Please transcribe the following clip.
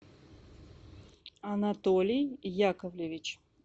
анатолий яковлевич